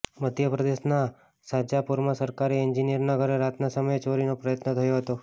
મધ્ય પ્રદેશના શાજાપુરમાં સરકારી એન્જિનિયરના ઘરે રાતના સમયે ચોરીનો પ્રયત્ન થયો હતો